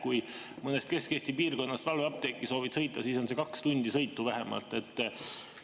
Kui mõnes Kesk-Eesti piirkonnas soovid valveapteeki sõita, siis tähendab see vähemalt kahte tundi sõitu.